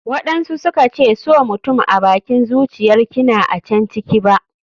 waɗansu suka ce so mutum abakin zuciyar kina a can ciki ba.